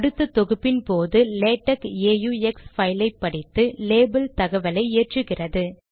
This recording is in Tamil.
அடுத்த தொகுப்பின் போது லேடக் ஆக்ஸ் பைலை படித்து லேபல் தகவலை ஏற்றுகிறது